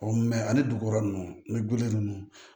Ɔ ani dugukɔrɔ ninnu an gulolen ninnu